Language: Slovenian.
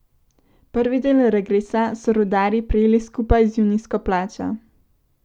Prvi del regresa so rudarji prejeli skupaj z junijsko plačo.